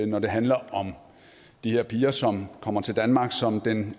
når det handler om de her piger som kommer til danmarks som den